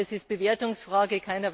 Aber es ist eine Bewertungsfrage.